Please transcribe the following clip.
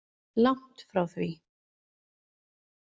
Langt frá því.